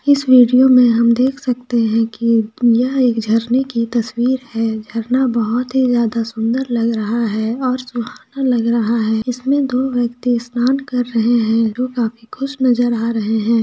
इस विडियो में हम देख सकते है कि यह एक झरने की तस्वीर है झरना बोहोत ही ज्यादा सुंदर लग रहा है और सुहाना लग रहा है इसमें दो व्यक्ति स्नान कर रहें हैं जो काफी खुश नजर आ रहे हैं।